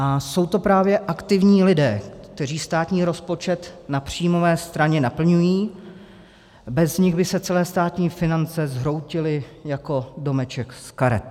A jsou to právě aktivní lidé, kteří státní rozpočet na příjmové straně naplňují, bez nich by se celé státní finance zhroutily jako domeček z karet.